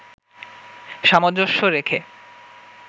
সামঞ্জস্য রেখে